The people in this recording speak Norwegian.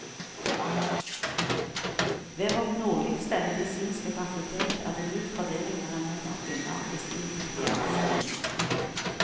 Ved vårt nordligste medisinske fakultet er det lik fordeling mellom menn og kvinner i stipendiatstillinger.